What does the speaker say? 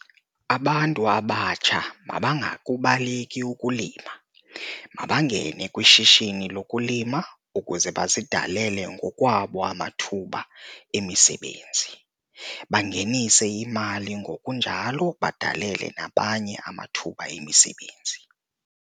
Abantu abatsha mabangakubaleki ukulima, mabangene kwishishini lokulima ukuze bazidalele ngokwabo amathuba emisebenzi, bangenise imali ngokunjalo badalele nabanye amathuba emisebenzi.